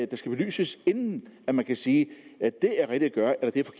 der skal belyses inden man kan sige at det er rigtigt at